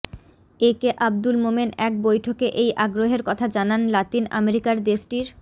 এ K Abdul Momen এক বৈঠকে এই আগ্রহের কথা জানান লাতিন আমেরিকার দেশটির